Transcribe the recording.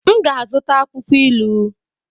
M ga-azụta akwụkwọ ilu